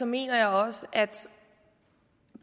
mener jeg også at